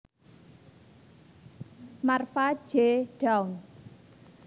Marva J Dawn